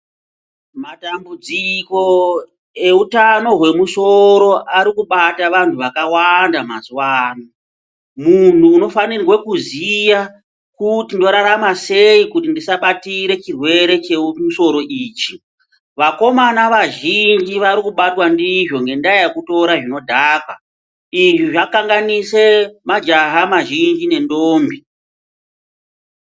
Matambudziko eutano hwemusoro ari kubate vantu vakawanda mazuwa ano munhu unofanirwe kuziya kuti ndorarama sei kuti ndisabatire chirwere chemusoro ichi vakomana vazhinji vari kubatwa ndizvo ngendaa yekutora zvinodhaka izvi zvakanganise majaha mazhinji nendombi.